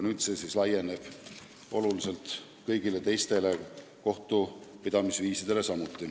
Nüüd see nõue laieneb kõigile teistele kohtupidamisviisidele.